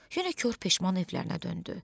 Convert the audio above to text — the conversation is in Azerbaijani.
Yenə kor peşman evlərinə döndü.